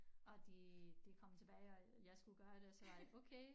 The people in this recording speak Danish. Og de de kom tilbage og jeg skulle gøre det og så var det okay